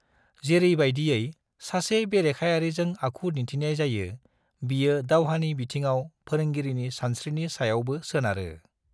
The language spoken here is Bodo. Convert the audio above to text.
जेरैबायदियै सासे बेरेखायारिजों आखु दिन्थिनाय जायो, बियो दावहानि बिथिंआव फोरोंगिरिनि सानस्रिनि सायावबो सोनारो।